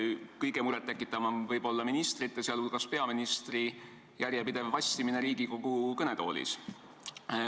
Kõige enam tekitab muret võib-olla ministrite, sh peaministri järjepidev vassimine Riigikogu kõnetoolis.